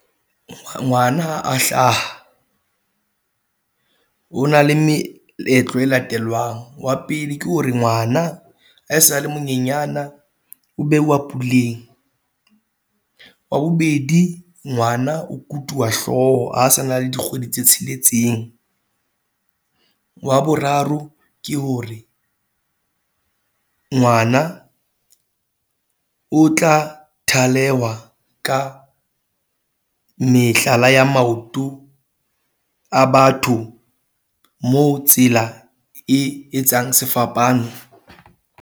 Ngwana ha a hlaha, ho na le meetlo e latelwang wa pele ke hore ngwana a sale manyenyana, o bewa puleng, wa bobedi ngwana o kutuwa hlooho ha sana le dikgwedi tse tsheletseng, wa boraro ke hore ngwana o tla thalewa ka mehlala ya maoto a batho, moo tsela e etsang sefapano.